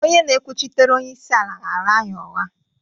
onye na-ekwuchitere onye isi ala ghaara anyị ụgha